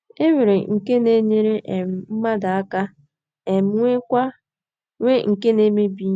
E nwere nke na - enyere um mmadụ aka um, nwee nke na - emebi ihe.